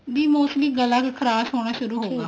ਵੀ mostly ਗਲਾ ਖਰਾਬ ਹੋਣਾ ਸ਼ੁਰੂ ਹੋਊਗਾ